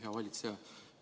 Hea valitseja!